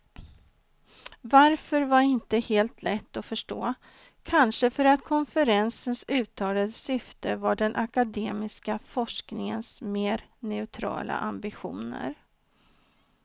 Varför var inte helt lätt att förstå, kanske för att konferensens uttalade syfte var den akademiska forskningens mer neutrala ambitioner.